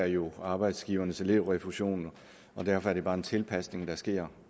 jo arbejdsgivernes elevrefusion og derfor er det bare en tilpasning der sker